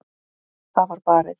Það var barið.